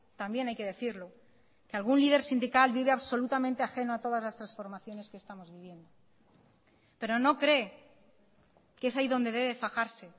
también hay que decirlo que algún líder sindical vive absolutamente ajeno a todas las transformaciones que estamos viviendo pero no cree que es ahí donde debe fajarse